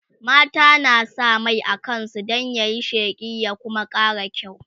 mata na sa Mai a kansu Dan yayi sheƙi ya Kuma ƙara kyau